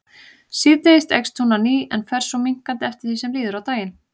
Síðdegis eykst hún á ný en fer svo minnkandi eftir því sem líður á daginn.